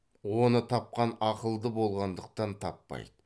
оны тапқан ақылды болғандықтан таппайды